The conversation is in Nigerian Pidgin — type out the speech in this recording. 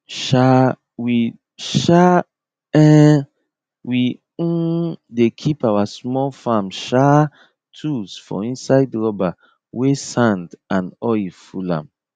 um we um um we um dey keep our small farm um tools for inside rubber wey sand and oil full am